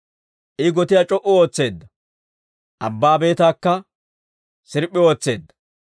I gotiyaa c'o"u ootseedda; abbaa beetaakka sirp'p'i ootseedda.